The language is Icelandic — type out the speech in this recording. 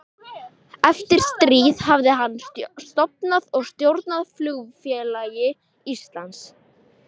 Eftir stríð hafði hann stofnað og stjórnað Flugfélagi Íslands